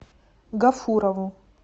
гафурову